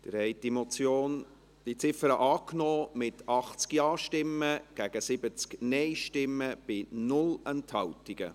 Sie haben diese Ziffer der Motion angenommen, mit 80 Ja- gegen 70 Nein-Stimmen bei 0 Enthaltungen.